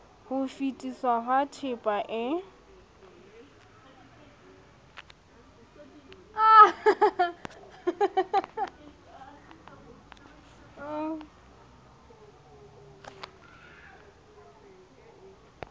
ho fetisetswa ha tehpa e